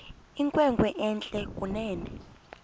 inkwenkwe entle kunene